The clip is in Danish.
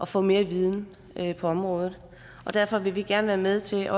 få mere viden på området derfor vil vi gerne være med til